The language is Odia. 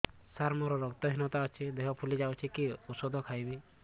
ସାର ମୋର ରକ୍ତ ହିନତା ଅଛି ଦେହ ଫୁଲି ଯାଉଛି କି ଓଷଦ ଖାଇବି